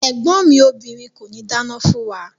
Ẹ̀gbọ́n mi obìrin kòní dáná fún wa.